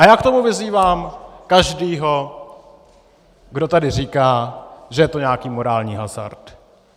A já k tomu vyzývám každého, kdo tady říká, že je to nějaký morální hazard.